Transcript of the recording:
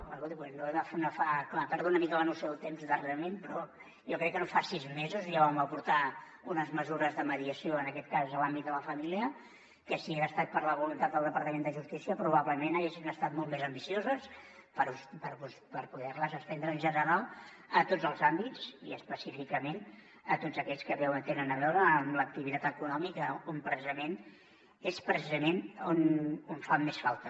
perdoni però jo crec és clar he perdut una mica la noció del temps darrerament però jo crec que no fa sis mesos ja vam aportar unes mesures de mediació en aquest cas en l’àmbit de la família que si hagués estat per la voluntat del departament de justícia probablement haurien estat molt més ambicioses per poder les estendre en general a tots els àmbits i específicament a tots aquells que tenen a veure amb l’activitat econòmica on precisament és on fan més falta